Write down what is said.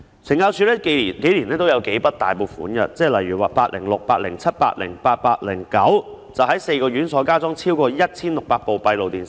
懲教署近年來也有數筆大額撥款，例如項目806、807、808和 809， 在4個院所加裝超過 1,600 部閉路電視。